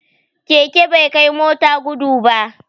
Keke bai kai mota gudu ba